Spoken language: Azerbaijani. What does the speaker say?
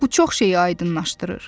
Bu çox şeyi aydınlaşdırır.